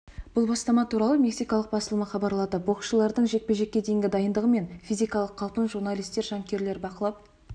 бұл бастама туралы мексикалық басылымы хабарлады боксшылардың жекпе-жекке деген дайындығы мен физикалық қалпын журналистер жанкүйерлер бақылап